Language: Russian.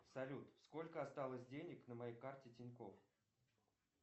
салют сколько осталось денег на моей карте тинькоф